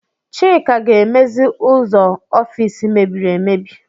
Chika ga-emezi ụzọ ọfis mebiri emebi.